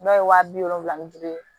Dɔw ye wa bi wolonwula ni duuru ye